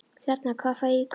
Hérna. hvað fæ ég í kaup?